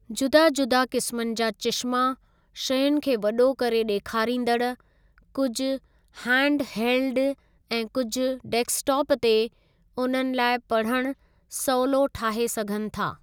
जुदा जुदा क़िस्मनि जा चिश्मा शयुनि खे वॾो करे ॾेखारींदड़ , कुझु हैंडहेल्ड ऐं कुझु डेस्कटॉप ते, उन्हनि लाइ पढ़णु सवलो ठाहे सघनि था।